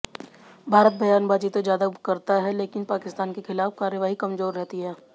भारत बयानबाज़ी तो ज़्यादा करता है लेकिन पाकिस्तान के ख़िलाफ कार्रवाई कमजोर रहती है